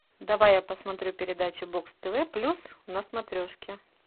давай я посмотрю передачу бокс тв плюс на смотрешке